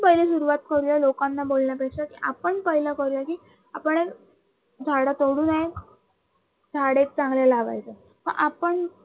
लोकांना बोलण्यापेक्षा आपण पाहिलं आपणही झाडं तोडू नये झाडे चांगले लावायचे व आपण